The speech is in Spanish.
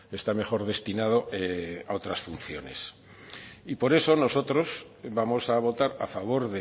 está mejor destinado a otras funciones y por eso nosotros vamos a votar a favor